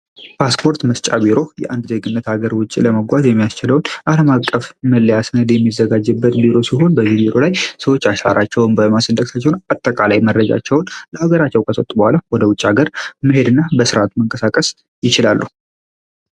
ፓስፖርት መስጫ ቢሮ የአንድ ዜግነት ሀገር ውጭ ለመጓዝ የሚያስችለውን ዓለም አቀፍ ምለያ ሰንድ የሚዘጋጅበት ቢሮ ሲሆን በሌሌሮ ላይ ሰዎች አሻራቸውን በማስንደክሳችውን አጠቃላይ መረጃቸውን ለሀገራቸው ከሰጥ በኋላ ወደ ውጭ ሀገር መሄድ እና በሥርዓት መንቀሳቀስ ይችላሉ።